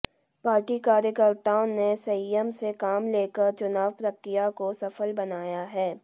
party कार्यकर्ताओं ने संयम से काम लेकर चुनाव प्रक्रिया को सफल बनाया है